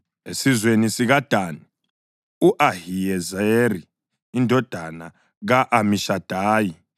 esizweni sikaDani, u-Ahiyezeri indodana ka-Amishadayi;